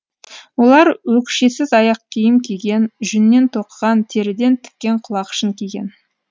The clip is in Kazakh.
олар өкшесіз аяқ киім киген жүннен тоқыған теріден тіккен құлақшын киген